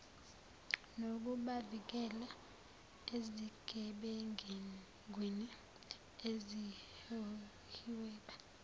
nokubavikela ezigebengwini ezihweba